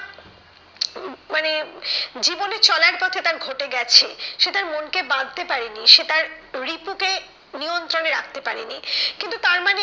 মানে জীবনে চলার পথে তার ঘটে গেছে। সে তার মনকে বাঁধতে পারেনি সে তার রিপুকে নিয়ন্ত্রণে রাখতে পারেনি। কিন্তু তার মানে,